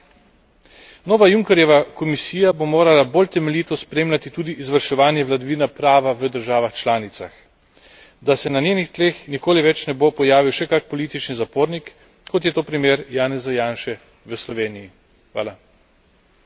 In nenazadnje, nova Junckerjeva Komisija bo morala bolj temeljito spremljati tudi izvrševanje vladavine prava v državah članicah, da se na njenih tleh nikoli več ne bo pojavil še kak politični zapornik, kot je to primer Janeza Janše v Sloveniji.